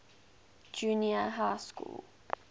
junior high school